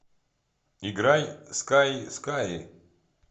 играй скай с к а й